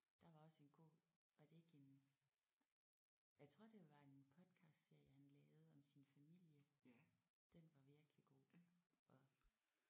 Der var også en god var det ikke en jeg tror det var en podcastserie han lavede om sin familie. Den var virkelig god og